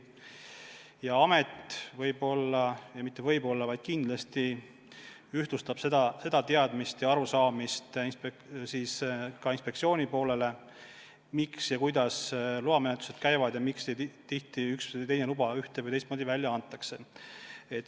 Ja amet võib-olla – mitte võib-olla, vaid kindlasti – ühtlustab inspektsiooniga seda teadmist ja arusaamist, kuidas loamenetlused käivad ja miks tihti üks või teine luba ühte või teist moodi välja antakse.